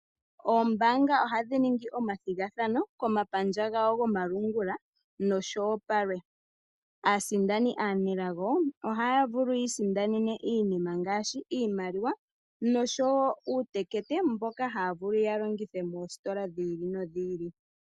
Oombaanga ohadhi ningi omathigathano komapandja gawo gomalungula noshowo palwe. Aasindani aanelago ohaya yiisindanene iinima ngaashi iimaliwa noshowo uutekete mboka haya vulu ya longithe moositola dhi ili nodhi ili.